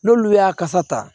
N'olu y'a kasa ta